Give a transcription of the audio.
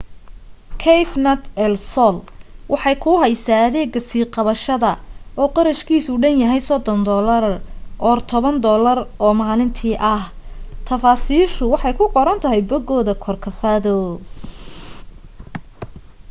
cafenet el sol waxay kuu haysaa adeega sii qabsashada oo qarashkiisu dhan yahay us$30 or $10 oo maalintii ah; tafaasiishu waxay ku qoran tahay bogooda corcovado